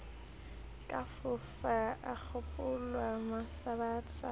ka fofa a kgaola masabasaba